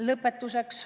Lõpetuseks.